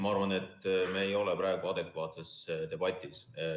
Ma arvan, et me ei ole praegu adekvaatses debatis.